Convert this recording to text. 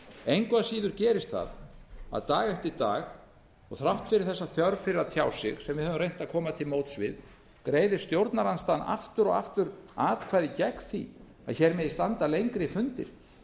engu að síður gerist það að dag eftir dag og þrátt fyrir þessa þörf fyrir að tjá sig sem við höfum reynt að koma til móts við greiðir stjórnarandstaðan aftur og aftur atkvæði gegn því að hér megi standa lengri fundir